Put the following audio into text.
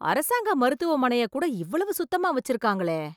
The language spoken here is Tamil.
அரசாங்க மருத்துவமனையை கூட இவ்வளவு சுத்தமா வச்சிருக்காங்களே